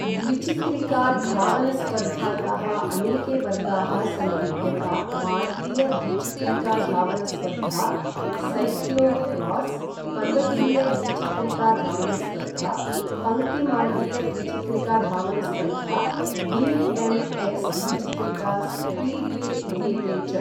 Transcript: द्विचिक्रिका धावनस्पर्धायाः अनेके वर्गाः सन्ति यथा मार्गीय द्विचिक्रिकाधावनस्पर्धा, सैक्लो क्रास्, पर्वतीय द्विचिक्रिकाधावनस्पर्धा, पङ्क्तिमार्गीय द्विचिक्रिकाधावनस्पर्धा, बि.एम्.एक्स्, द्विचिक्रिका स्पीड्वे इत्येते च।